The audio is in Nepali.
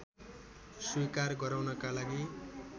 स्वीकार गराउनका लागि